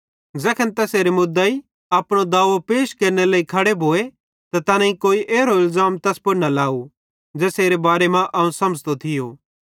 ज़ैखन तैसेरे मुदेइ अपनो दाओ पैश केरनेरे लेइ खड़े भोए त तैनेईं कोई एरो इलज़ाम तैस पुड़ न लाव ज़ेसेरी बारे मां अवं समझ़तो थियो